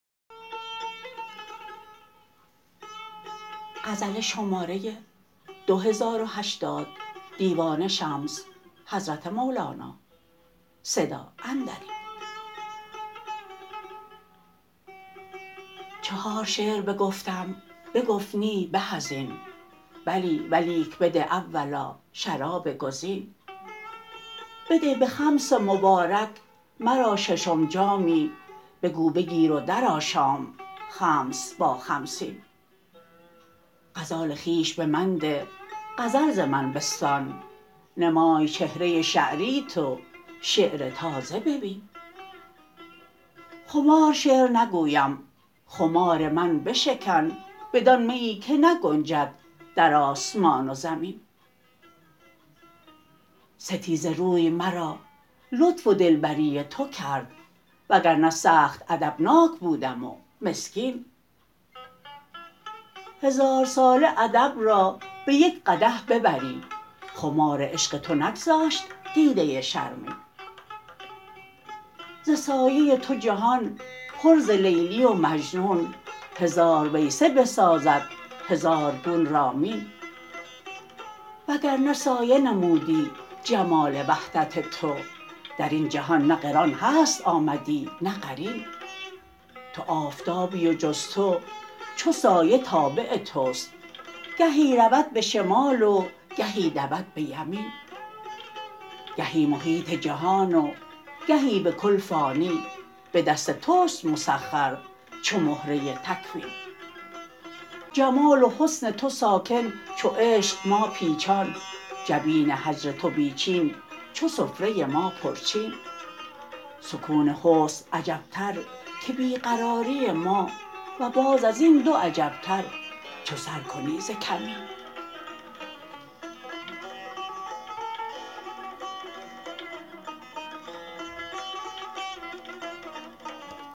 چهار شعر بگفتم بگفت نی به از این بلی ولیک بده اولا شراب گزین بده به خمس مبارک مرا ششم جامی بگو بگیر و درآشام خمس با خمسین غزال خویش به من ده غزل ز من بستان نمای چهره شعریت و شعر تازه ببین خمار شعر نگویم خمار من بشکن بدان میی که نگنجد در آسمان و زمین ستیزه روی مرا لطف و دلبری تو کرد وگر نه سخت ادبناک بودم و مسکین هزارساله ادب را به یک قدح ببری خمار عشق تو نگذاشت دیده شرمین ز سایه تو جهان پر ز لیلی و مجنون هزار ویسه بسازد هزار گون رامین وگر نه سایه نمودی جمال وحدت تو در این جهان نه قران هست آمدی نه قرین تو آفتابی و جز تو چو سایه تابع توست گهی رود به شمال و گهی دود به یمین گهی محیط جهان و گهی به کل فانی به دست توست مسخر چو مهره تکوین جمال و حسن تو ساکن چو عشق ما پیچان جبین هجر تو بی چین چو سفره ما پرچین سکون حسن عجبتر که بی قراری ما و باز از این دو عجبتر چو سر کنی ز کمین